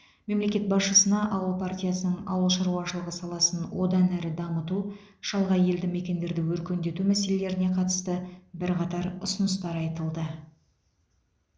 мемлекет басшысына ауыл партиясының ауыл шаруашылығы саласын одан әрі дамыту шалғай елді мекендерді өркендету мәселелеріне қатысты бірқатар ұсыныстар айтылды